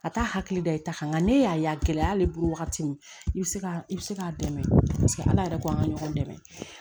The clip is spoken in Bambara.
A t'a hakili da i ta kan nka nka ne y'a ye a gɛlɛya y'ale bolo wagati min i bi se ka i bi se k'a dɛmɛ paseke ala yɛrɛ k'an ka ɲɔgɔn dɛmɛ